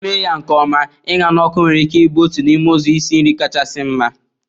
Eme ya nke ọma, Ịña na ọkụ nwere ike ịbụ otu n'ime ụzọ isi nri kachasị mma.